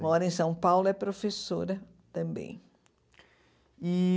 Mora em São Paulo e é professora também. E